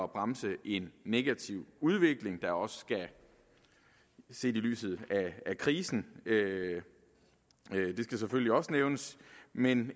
bremse en negativ udvikling der også skal ses i lyset af krisen det skal selvfølgelig også nævnes men